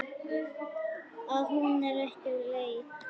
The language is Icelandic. Að hún er úr leik.